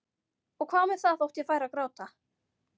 Og hvað með það þótt ég færi að gráta?